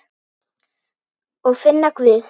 Og finna Guð.